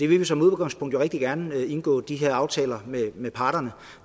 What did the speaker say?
vil jo som udgangspunkt rigtig gerne indgå de her aftaler med parterne